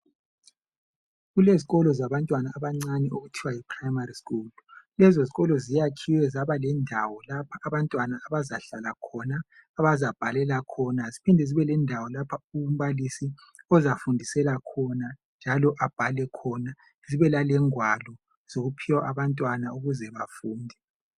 Kulezi lolo zabantwana abancane okuthiwa yi primary school lezo zikolo ziyakhiwe zaba lendawo lapha abantwana abazahlala khona abazabhalela khona ziphinde zibe lendawo lapho umbalisi ozafundisela khona njalo abhale khona zibe lalengwalo zokuphiwa abantwana ukuze bafunde.